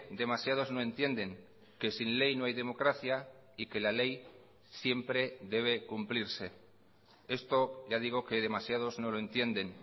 demasiados no entienden que sin ley no hay democracia y que la ley siempre debe cumplirse esto ya digo que demasiados no lo entienden